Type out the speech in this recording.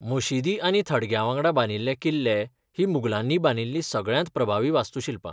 मशिदी आनी थडग्यां वांगडा बांदिल्ले किल्ले हीं मुघलांनी बांदिल्लीं सगळ्यांत प्रभावी वास्तूशिल्पां.